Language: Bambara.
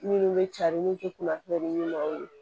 Minnu bɛ cari min tɛ kunnafoni ɲi maaw ye